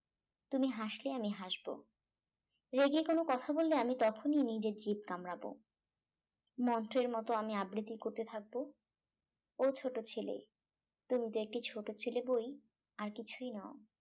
তুমি হাসলে আমি হাসবো রেগে কোন কথা বললে আমি তখনি নিজের জিভ কামড়াব মন্ত্রের মত আমি আবৃতি করতে থাকবো ও ছোট ছেলে তুমি তো একটি ছোট ছেলেবই আর কিছুই নও